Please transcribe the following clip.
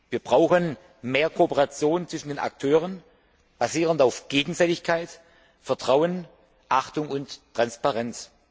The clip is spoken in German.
Wir brauchen mehr Kooperation zwischen den Akteuren, basierend auf Gegenseitigkeit, Vertrauen, Achtung und Transparenz.